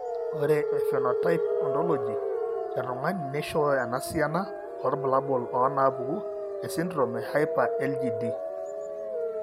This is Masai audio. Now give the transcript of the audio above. Ore ephenotype ontology etung'ani neishooyo enasiana oorbulabul onaapuku esindirom eHyper IgD.